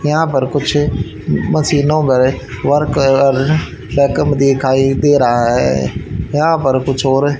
यहां पर कुछ मशीनो वगैरा वर्क और बैकअप दिखाई दे रहा है यहां पर कुछ हो रै --